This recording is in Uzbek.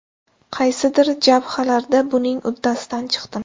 Qaysidir jabhalarda buning uddasidan chiqdim.